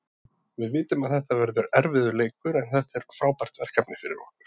Við vitum að þetta verður erfiður leikur, en þetta er frábært verkefni fyrir okkur.